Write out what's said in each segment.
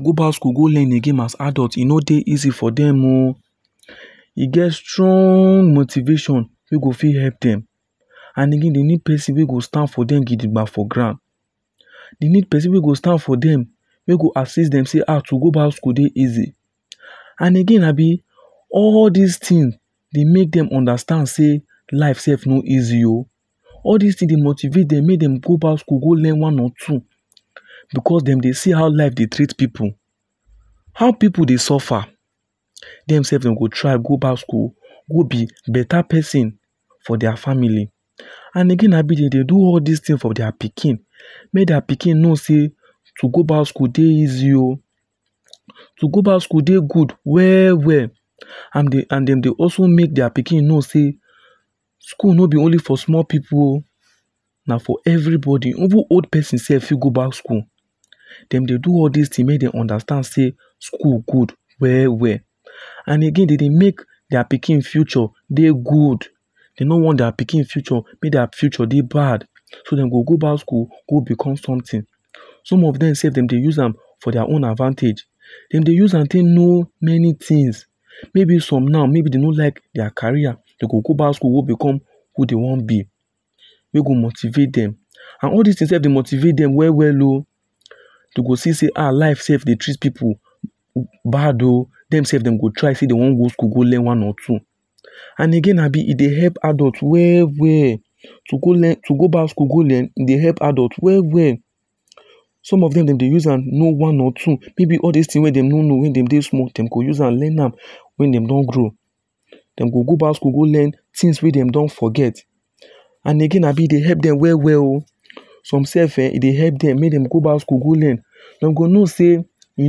Go back school go learn again as adult e no dey easy for them oo e get strong motivation wey go fit help them and again they need person wey go stand for them gidigbam for ground they need person wey go stand for them wey go assist them say ah to go back school dey easy and again abi all this thing dey make dem understand say life sef no easy oo all this thing dey motivate dem make dem go back school go learn one or two because dem dey see how life dey treat pipu how pipu dey suffer dem sef dem go try go back school go be better person for their family and again abi dem dey do all this things for their pikin make their pikin know say to go back school dey easy oo to go back school dey good well well and dem dem dey also make their pikin know say school no be only for small pipu oo na for everybody even old person sef fit go back school dem dey do all this thing make dem understand say school good well well and again dem dey make their pikin future dey good dey no want their pikin future make dia future dey bad so dem go go back school go become something some of dem sef dem dey use am for their own advantage dem dey use am take know many things maybe some now maybe dem no like their career dem go go back school go become who dey wan be wey go motivate dem and all this thing sef dey motivate dem well well oo dem go see say um life sef dey treat pipu bad oo dem sef dem go try say dem wan go learn one or two and again abi e dey help adult well well to go learn to go back school go learn e dey help adult well well some of dem dem dey use am know one or two maybe all this things wey dem no know wey dem dey small dey go use am learn am Wen dem don grow dem go go back school go learn things wey dem don forget and again abi e dey help dem well well oo some sef ehh e dey help dem go back school go learn dem know say e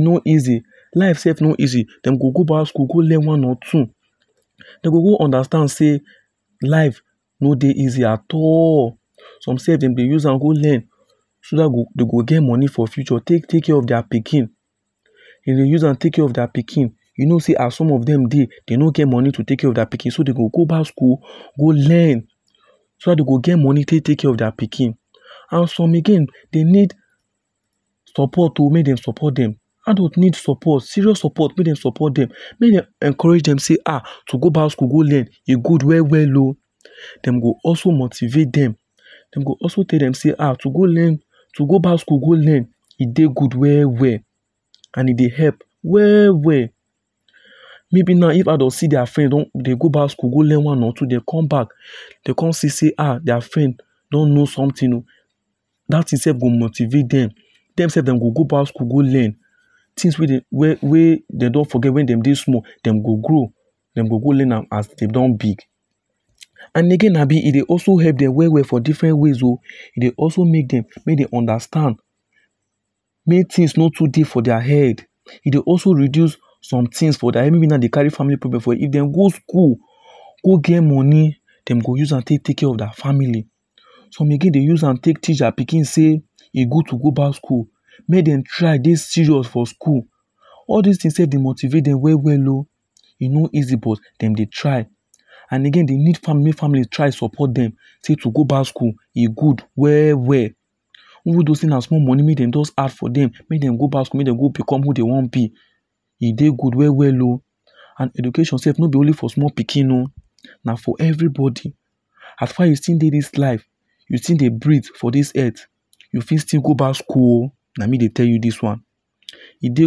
no easy life sef no easy dem go go back school go learn one or two dem go go understand say life no dey easy at all some sef dem dey use am go learn so that dem go get money for future take take care of their pikin dem dey use am take care of their pikin you know say as some of dem dey dem go get money to take care of their pikin so dem go go back school go learn so that dem go get money tey take care of their pikin and some again dem need support oo make dem support dem adult need support serious support make dem support dem make dem encourage dem say ah to go back school go learn e good well well o dem go also motivate dem dem go also tell dem say ahh to go learn to go back school go learn e dey good well well and e dey help well well maybe now if adult see their friend don dey go back school go learn one or two dem come back dey come see say ah their friend don know something that thing sef go motivate dem, dem self dem go go back school go learn things wey dem don forget when dem dey small, dem go dem go go learn am as dem don big.and again abi, e dey also help dem well well for different ways oh. E dey also make dem understand, make things no too difficult ahead. E dey also reduce somethings for their head, even me now dey carry family problem for head, if dem go school, go get money dem go use am take take care of their family. Some again dey use am take teach their pikin sey e good to go back school oh, make dem try dey serious for school. All these things self dey motivate dem well well oh. E no easy but dem dey try and again dey need family make family try support dem sey to go back school, e good well well. Even though sey na small money make dem just start for dem make dem just add for dem make dem go back school go become who dem wan be. E dey good well well oh. And education self no be for only small pikin oh, na for everybody. As far you still dey this life, you still dey breathe for this earth, you fit still go back school oh, na me dey tell you this one. E dey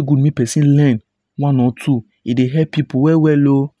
good make person learn one or two, e dey help pipu well well oh.